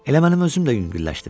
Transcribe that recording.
Elə mənim özüm də yüngülləşdim.